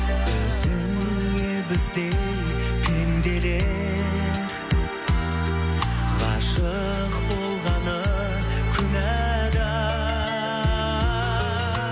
өзіңе біздей пенделер ғашық болғаны